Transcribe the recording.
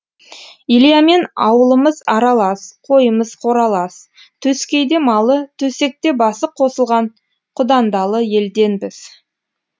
ильямен аулымыз аралас қойымыз қоралас төскейде малы төсекте басы қосылған құдандалы елденбіз